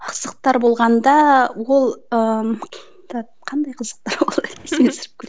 қызықтар болғанда ол ыыы так қандай қызықтар